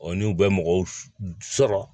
n'u bɛ mɔgɔw sɔrɔ